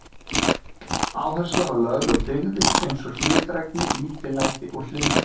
Áhersla var lögð á dyggðir eins og hlédrægni, lítillæti og hlýðni.